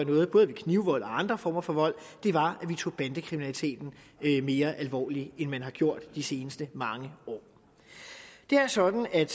ved både knivvold og andre former for vold var at man tog bandekriminaliteten mere alvorligt end man har gjort de seneste mange år det er sådan at